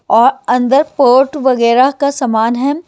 और अंदर पोर्ट वगैरह का सामान है।